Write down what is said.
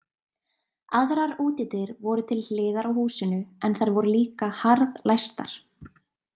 Aðrar útidyr voru til hliðar á húsinu en þær voru líka harðlæstar.